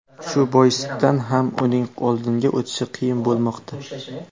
Shu boisdan ham uning oldinga o‘tishi qiyin bo‘lmoqda.